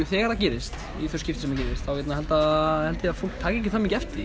þegar það gerist þá held ég að fólk taki ekkert eftir því